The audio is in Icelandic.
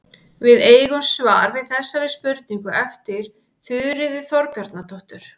Við eigum svar við þessari spurningu eftir Þuríði Þorbjarnardóttur.